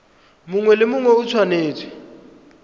mongwe le mongwe o tshwanetse